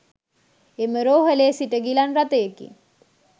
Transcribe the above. එම රෝහ‍ලේ සිට ගිලන් රථයකින්